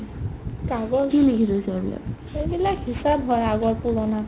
পাগল, সেইবিলাক hisab হয় পুৰনা